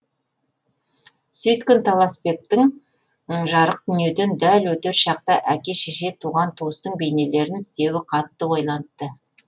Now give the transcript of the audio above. сөйткен таласбектің жарық дүниеден дәл өтер шақта әке шеше туған туыстың бейнелерін іздеуі қатты ойлантты